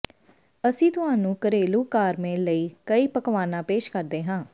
ਅਸੀਂ ਤੁਹਾਨੂੰ ਘਰੇਲੂ ਕਾਰਮੇਲ ਲਈ ਕਈ ਪਕਵਾਨਾ ਪੇਸ਼ ਕਰਦੇ ਹਾਂ